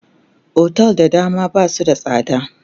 otel da dama Basu da tsada